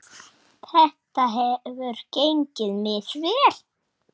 Þetta hefur gengið misvel.